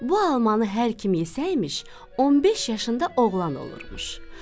Bu almanı hər kim yesəymiş, 15 yaşında oğlan olurmuş.